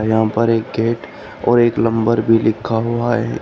यहां पर एक गेट और एक नंबर भी लिखा हुआ है।